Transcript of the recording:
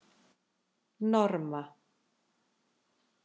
Norma